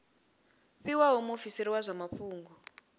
fhiwaho muofisiri wa zwa mafhungo